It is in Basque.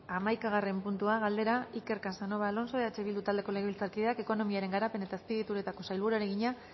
hamaikagarren puntua galdera iker casanova alonso eh bildu taldeko legebiltzarkideak ekonomiaren garapen eta azpiegituretako sailburuari egina